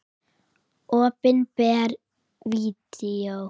Opinber Vídeó